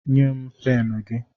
Nye m pen gị